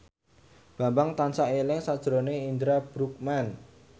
Bambang tansah eling sakjroning Indra Bruggman